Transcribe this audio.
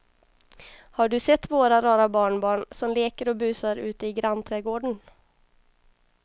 Har du sett våra rara barnbarn som leker och busar ute i grannträdgården!